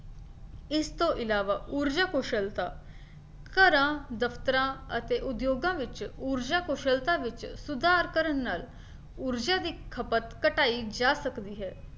ਇਸਤੋਂ ਇਲਾਵਾ ਊਰਜਾ ਕੁਸ਼ਲਤਾ ਘਰਾਂ, ਦਫਤਰਾਂ ਅਤੇ ਉਦਯੋਗਾਂ ਵਿੱਚ ਊਰਜਾ ਕੁਸ਼ਲਤਾ ਵਿੱਚ ਸੁਧਾਰ ਕਰਨ ਨਾਲ ਊਰਜਾ ਦੀ ਖਪਤ ਘਟਾਈ ਜਾ ਸਕਦੀ ਹੈ।